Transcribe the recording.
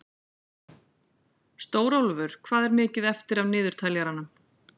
Stórólfur, hvað er mikið eftir af niðurteljaranum?